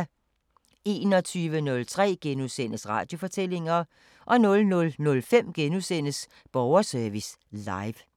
21:03: Radiofortællinger * 00:05: Borgerservice Live *